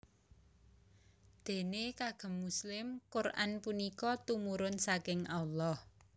Déné kagem muslim Quran punika tumurun saking Allah